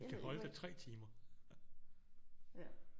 Vi kan holde der 3 timer